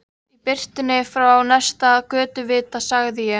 Í birtunni frá næsta götuvita sagði ég